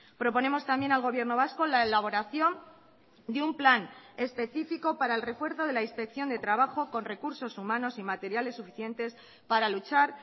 proponemos también al gobierno vasco la elaboración de un plan específico para el refuerzo de la inspección de trabajo con recursos humanos y materiales suficientes para luchar